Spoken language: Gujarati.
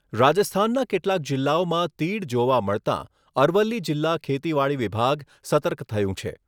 રાજસ્થાનના કેટલાક જિલ્લાઓમાં તીડ જોવા મળતાં અરવલ્લી જિલ્લા ખેતીવાડી વિભાગ સતર્ક થયું છે...